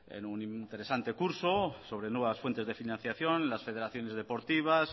en un interesante curso sobre nuevas fuentes de financiación las federaciones deportivas